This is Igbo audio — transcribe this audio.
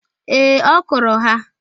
Ee, ọ kụrụ ha